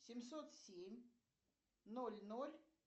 семьсот семь ноль ноль